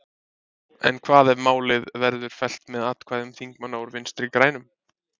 En hvað ef málið verður fellt með atkvæðum þingmanna úr Vinstri-grænum?